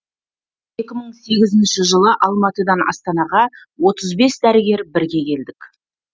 екі мың сегізінші жылы алматыдан астанаға отыз бес дәрігер бірге келдік